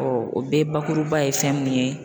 o bɛɛ bakuruba ye fɛn mun ye